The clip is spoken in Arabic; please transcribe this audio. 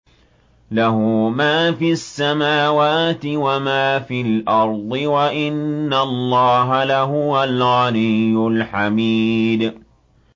لَّهُ مَا فِي السَّمَاوَاتِ وَمَا فِي الْأَرْضِ ۗ وَإِنَّ اللَّهَ لَهُوَ الْغَنِيُّ الْحَمِيدُ